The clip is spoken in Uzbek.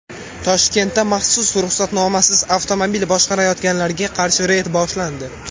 Toshkentda maxsus ruxsatnomasiz avtomobil boshqarayotganlarga qarshi reyd boshlandi.